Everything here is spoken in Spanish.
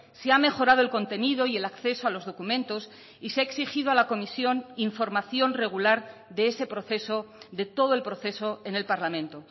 se ha mejorado el contenido y el acceso a los documentos y se ha exigido a la comisión información regular de ese proceso de todo el proceso en el parlamento